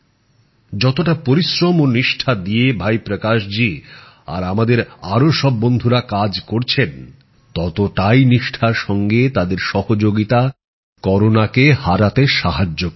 যতটা পরিশ্রম ও নিষ্ঠা দিয়ে ভাই প্রকাশ জী আর আমাদের আরো সব বন্ধুরা কাজ করছেন ততটাই নিষ্ঠার সঙ্গে তাদের সহযোগিতা করোনাকে হারাতে সাহায্য করবে